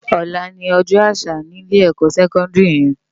Òlá ni òjò ásà ni ilé èkò sèkòndiri yèn